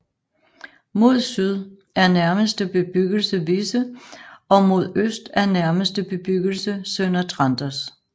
Mod syd er nærmeste bebyggelse Visse og mod øst er nærmeste bebyggelse Sønder Tranders